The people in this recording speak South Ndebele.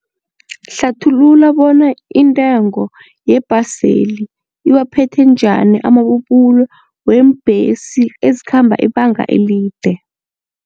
Hlathulula bona intengo yebhaseli iwaphethe njani amabubulo weembhesi ezikhamba ibanga elide.